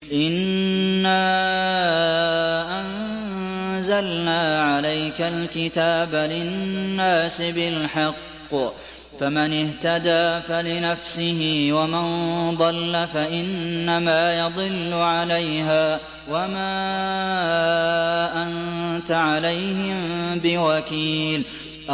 إِنَّا أَنزَلْنَا عَلَيْكَ الْكِتَابَ لِلنَّاسِ بِالْحَقِّ ۖ فَمَنِ اهْتَدَىٰ فَلِنَفْسِهِ ۖ وَمَن ضَلَّ فَإِنَّمَا يَضِلُّ عَلَيْهَا ۖ وَمَا أَنتَ عَلَيْهِم بِوَكِيلٍ